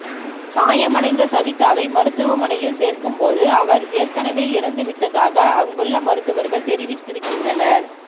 காயமடைந்த சவிதாவை மருத்துவமனையில் சேர்க்கும்போது அவர் ஏற்கனவே இறந்து விட்டதாக அங்குள்ள மருத்துவர்கள் தெரிவித்திருக்கின்றனர்